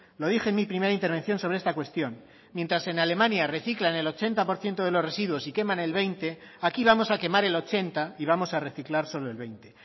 lo dije en mi primera intervención sobre esta cuestión mientras en alemania reciclan el ochenta por ciento de los residuos y queman el veinte aquí vamos a quemar el ochenta y vamos a reciclar solo el veinte